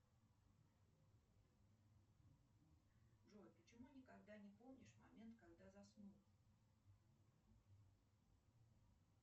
джой почему никогда не помнишь момент когда заснул